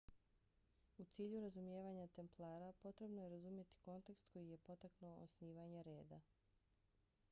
u cilju razumijevanja templara potrebno je razumjeti kontekst koji je potaknuo osnivanje reda